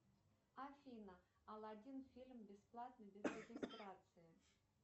афина алладин фильм бесплатно без регистрации